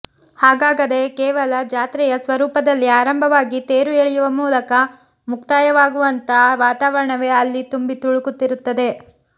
ಹಾಗಾಗದೇ ಕೇವಲ ಜಾತ್ರೆಯ ಸ್ವರೂಪದಲ್ಲಿ ಆರಂಭವಾಗಿ ತೇರು ಎಳೆಯುವ ಮೂಲಕ ಮುಕ್ತಾಯವಾಗುವಂಥಾ ವಾತಾವರಣವೇ ಅಲ್ಲಿ ತುಂಬಿ ತುಳುಕುತ್ತಿರುತ್ತದೆ